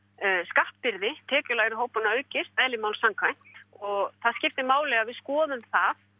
skattbyrði tekjulægri hópanna aukist eðli máls samkvæmt og það skiptir máli að við skoðum það